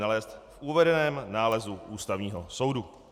nalézt v uvedeném nálezu Ústavního soudu.